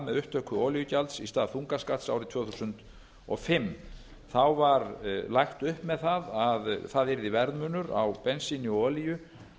upptöku olíugjalds í stað þungaskatts árið tvö þúsund og fimm þá var lagt upp með að það yrði verðmunur á bensíni og olíu